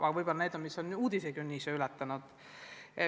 Aga võib-olla need on vaid juhtumid, mis on uudisekünnise ületanud.